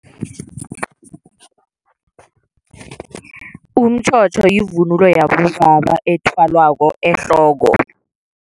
Umtjhotjho yivunulo yabobaba ethwalwako ehloko.